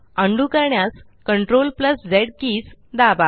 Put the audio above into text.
undo करण्यास CTRLZ keys दाबा